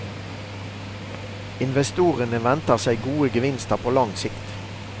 Investorene venter seg gode gevinster på lang sikt.